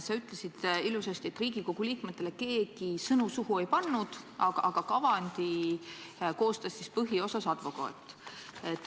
Sa ütlesid ilusasti, et Riigikogu liikmetele keegi sõnu suhu ei pannud, aga et kavandi koostas põhiosas advokaat.